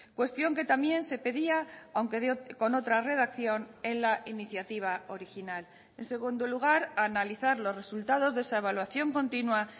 cuestión que también se pedía aunque con otra redacción en la iniciativa original en segundo lugar analizar los resultados de esa evaluación continua